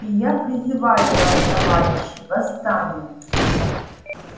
и я призываю вас товарищи восстание